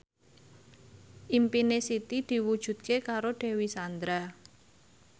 impine Siti diwujudke karo Dewi Sandra